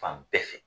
Fan bɛɛ fɛ